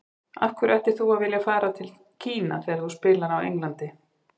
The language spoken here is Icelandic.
Af hverju ættir þú að vilja fara til Kína þegar þú spilar á Englandi?